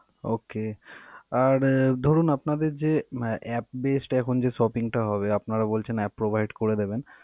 Okay আর ধরুন আপনাদের যে app based এখন যে shopping টা হবে আপনারা বলছেন app provide করে দেবেন.